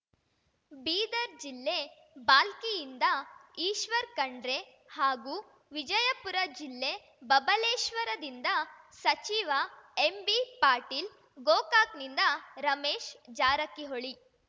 ಬೀದರ್ ಜಿಲ್ಲೆ ಭಾಲ್ಕಿಯಿಂದ ಈಶ್ವರ್ ಖಂಡ್ರೆ ಹಾಗೂ ವಿಜಯಪುರ ಜಿಲ್ಲೆ ಬಬಲೇಶ್ವರದಿಂದ ಸಚಿವ ಎಂಬಿಪಾಟೀಲ್‌ ಗೋಕಾಕ್‌ನಿಂದ ರಮೇಶ್ ಜಾರಕಿಹೊಳಿ